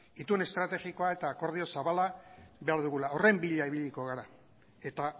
itun estrategikoa eta akordio zabala behar dugula horren bila ibiliko gara eta